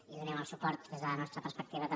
i donem el suport des de la nostra perspectiva també